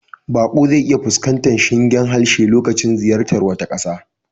Baƙo zai iya fuskantar shingen harshe lokacin ziyartar wata ƙasa.